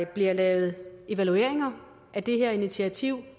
bliver lavet evalueringer af det her initiativ